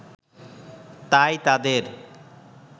তাই তাদের